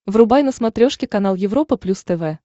врубай на смотрешке канал европа плюс тв